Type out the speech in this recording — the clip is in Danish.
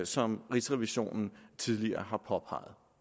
som rigsrevisionen tidligere